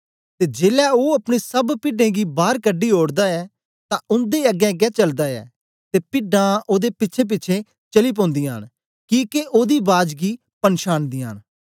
ते जेलै ओ अपनी सब पिड्डें गी बार कढी ओड़दा ऐ तां उन्दे अगेंअगें चलदा ऐ ते पिड्डां ओदे पिछेंपिछें चली पौंदीयां न किके ओ ओदी बाज गी पंछानदीयां न